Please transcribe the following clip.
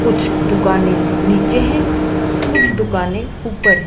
कुछ दुकाने नीचे हैं कुछ दुकाने ऊपर हैं।